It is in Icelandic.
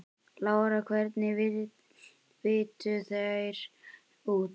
Lára: Hvernig litu þeir út?